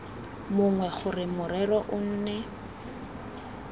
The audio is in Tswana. mongwe gore morero o nne